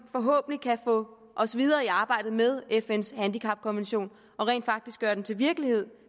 forhåbentlig kan få os videre i arbejdet med fns handicapkonvention og rent faktisk gøre den til virkelighed